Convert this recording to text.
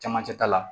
Camancɛ ta la